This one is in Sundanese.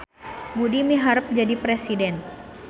Budi miharep jadi presiden